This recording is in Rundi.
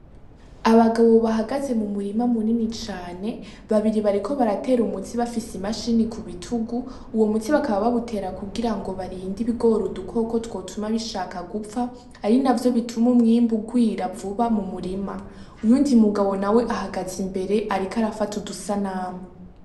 Abagabo bahagaze mu murima mu nini cane babiri bariko baratera umutsi bafise imashini ku bitugu uwo mutsi bakaba babutera kugira ngo barinda ibigoruda koko twotuma bishaka gupfa ari na vyo bituma umwimbi ugwira vuba mu murima uyu undi mugabo na we ahagaze imbere, ariko arafata udusa name.